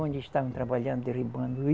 Onde estavam trabalhando derribando?